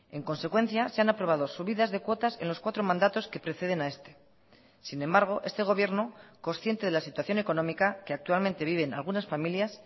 en consecuencia se han aprobado subidas de cuotas en los cuatro mandatos que preceden a este sin embargo este gobierno consciente de la situación económica que actualmente viven algunas familias